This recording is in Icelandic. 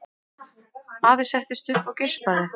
Afi settist upp og geispaði.